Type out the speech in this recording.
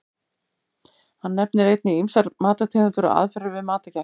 Hann nefnir einnig ýmsar matartegundir og aðferðir við matargerð.